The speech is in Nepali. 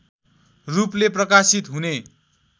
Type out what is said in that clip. रूपले प्रकाशित हुने